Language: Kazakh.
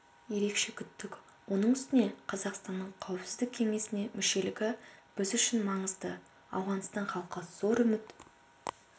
ерекше күттік оның үстіне қазақстанның қауіпсіздік кеңесіне мүшелігі біз үшін маңызды ауғанстан халқы зор үміт